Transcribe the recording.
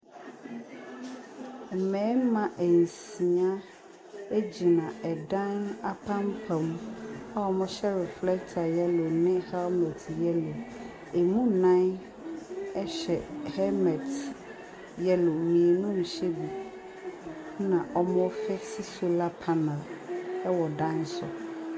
Mmarima nsia gyina dan apampam a wɔhyɛ reflector yellow ne helmet yellow, ɛmu nnan hyɛ helmet yellow, mmienu nhyɛ bi na wɔrrefekse solar panel wɔ dan bi so.